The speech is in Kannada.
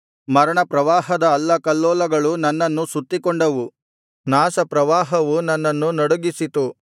ಮರಣ ಪ್ರವಾಹದ ಅಲ್ಲಕಲ್ಲೋಲಗಳು ನನ್ನನ್ನು ಸುತ್ತಿಕೊಂಡವು ನಾಶಪ್ರವಾಹವು ನನ್ನನ್ನು ನಡುಗಿಸಿತು